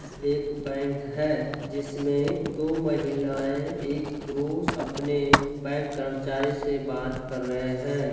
एक बैंक है। जिसमें दो महिलाएँ एक पुरुष अपने बैंक कर्मचारी से बात कर रहे हैं।